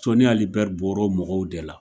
Sɔni Ali Bɛri bɔr'o mɔgɔw de la.